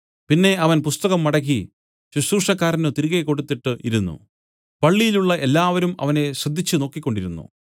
പിന്നെ അവൻ പുസ്തകം മടക്കി ശുശ്രൂഷക്കാരന് തിരികെ കൊടുത്തിട്ട് ഇരുന്നു പള്ളിയിലുള്ള എല്ലാവരും യേശുവിനെ ശ്രദ്ധിച്ചു നോക്കിക്കൊണ്ടിരുന്നു